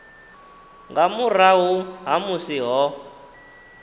nga murahu ha musi ho